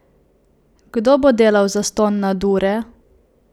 Kdo bo delal zastonj nadure?